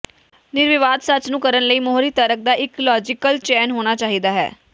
ਨਿਰਵਿਵਾਦ ਸੱਚ ਨੂੰ ਕਰਨ ਲਈ ਮੋਹਰੀ ਤਰਕ ਦਾ ਇੱਕ ਲਾਜ਼ੀਕਲ ਚੇਨ ਹੋਣਾ ਚਾਹੀਦਾ ਹੈ